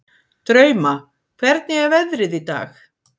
Drauma, hvernig er veðrið í dag?